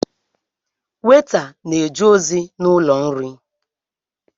Weta na-eje ozi n’ụlọ nri